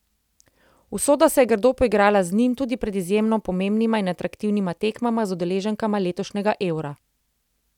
Usoda se je grdo poigrala z njim tudi pred izjemno pomembnima in atraktivnima tekmama z udeleženkama letošnjega Eura.